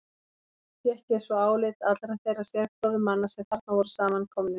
Fékk ég svo álit allra þeirra sérfróðu manna, sem þarna voru samankomnir.